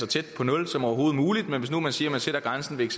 tæt på nul som overhovedet muligt men hvis man nu siger at man sætter grænsen ved